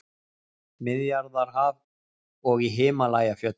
Miðjarðarhaf og í Himalajafjöllum.